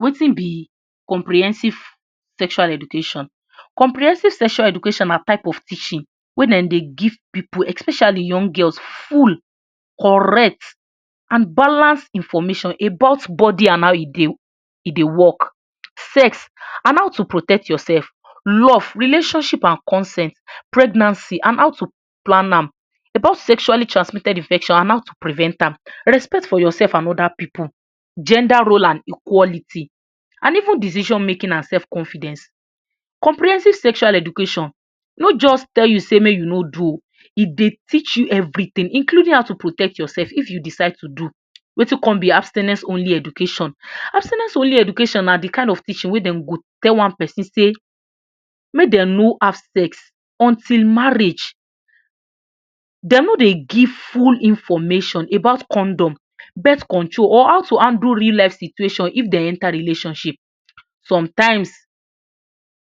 Wetin be comprehensive sexual education? comprehensive sexual education na type of teaching wey dem dey give pipu, especially young girls, full, correct, and balanced information about body and how e dey work, sex and to protect yourself, love, relationship and consent, pregnancy and on how to plan am, about sexually transmitted infections, and how to prevent am, respect for yourself and oda pipu, gender roles, equality and even decision-making, and self-confidence. Comprehensive sexual education no just tell you sey make you no do oo e dey teach you everything, including how to protect yourself if you decide to do. Wetin con be abstinence-only education? abstinence-only education na de kind of teaching wey dem go tell one persin sey make dem no have sex until marriage, dem no dey give full information about condom, birth control, or how to handle real-life situations if dem enter relationship sometimes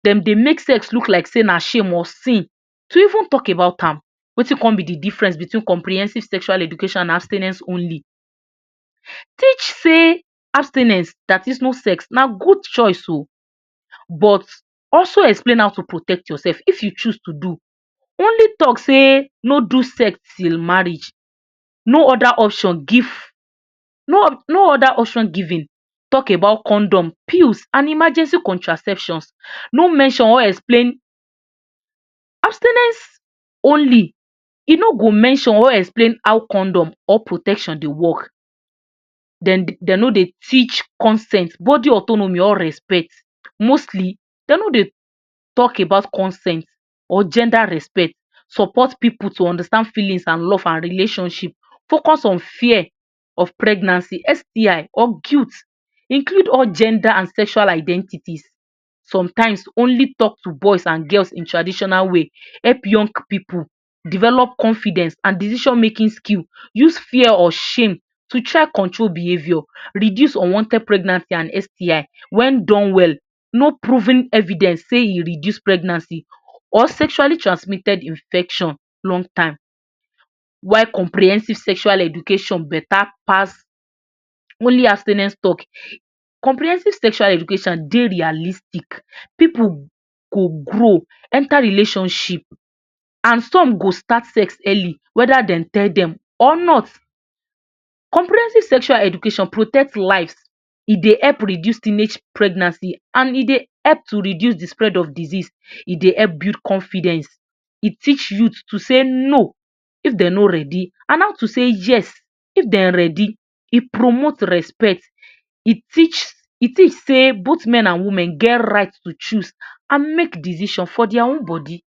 dem dey make sex look like shame or sin to even talk about am. Wetin come be de difference between comprehensive sexual education and abstinence-only teach sey abstinence dat is no sex na good choice oo, but also explain am to protect yourself if you choose to do, only talk sey no do sex till marriage no oda option give on oda option giving, talk about condom, pills and emergency contraceptive no mention or explain abstinence-only e no go mention or explain how condom or protection dey work dem dem no dey teach consent, body autonomy or respect. Mostly dem no dey talk about consent or gender respect support pipu to understand feelings, love, and relationships focus on fear of pregnancy, STI or guilt include all gender and sexual identity. Sometimes only talk to boys and girls in traditional way, help young pipu develop confidence and decision-making skill, use fear or shame to try control behavior reduce unwanted pregnancies and STI wen done well no proven evidence sey e reduce pregnancy or sexually transmitted infection long time. While Comprehensive sexual education beta pass only abstinence talk Comprehensive sexual education dey realistic, pipu go grow, enter relationship and some go start sex early whether dem tell dem or not Comprehensive sexual education protect lives, e help reduce teenage pregnancy, and e dey help reduce de spread of diseases, and e dey help build confidence. E teach youth to sey no if dem no ready and how to sey yes if dem ready. E promote respect e teach e teach sey both men and women get right to choose and make decision for der own body.